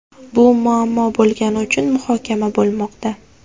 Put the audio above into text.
Bu muammo bo‘lgani uchun muhokama bo‘lmoqda.